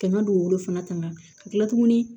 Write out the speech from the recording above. Ka na dugukolo fana tanga ka kila tuguni